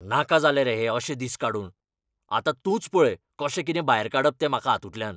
नाका जाले रे हे अशे दीस काडून. आतां तूच पळय कशें कितें भायर काडप तें म्हाका हातूंतल्यान.